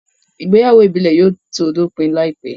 Ìgbéyàwó ìbílẹ̀ yóò tó dópin láìpẹ́